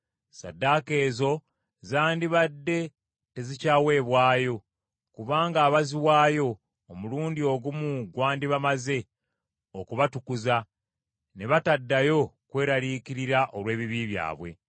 Ssaddaaka ezo zandibadde tezikyaweebwayo, kubanga abaaziwaayo, omulundi ogumu gwandibamaze okubatukuza, ne bataddayo kweraliikirira olw’ebibi byabwe.